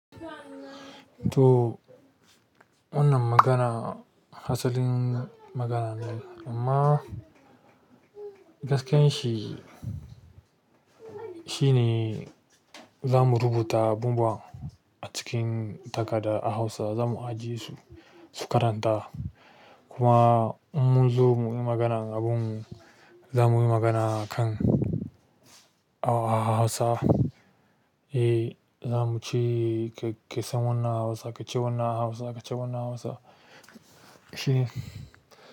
To wannan magana hasalin magana ne amma gaskiyar shi, shi ne za mu rubuta abubuwa a cikin takarda a Hausa za mu ajiye su, su karanta. Kuma in mun zo mu yi maganan abun za mu yi magana akan a Hausa. E, za mu ce k-kesan wannan a Hausa, kace wannan a Hausa, kace wannan a Hausa. Shine.